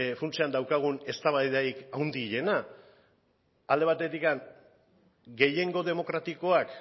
funtsean daukagun eztabaidarik handiena alde batetik gehiengo demokratikoak